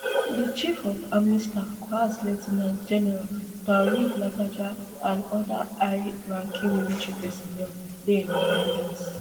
di chief of army staff coas lieu ten ant general taoreed lagbaja and oda high ranking military personnel dey in at ten dance